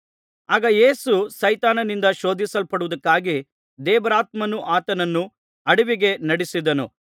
ಆಗ ಯೇಸು ಸೈತಾನನಿಂದ ಶೋಧಿಸಲ್ಪಡುವುದಕ್ಕಾಗಿ ದೇವರಾತ್ಮನು ಆತನನ್ನು ಅಡವಿಗೆ ನಡೆಸಿದನು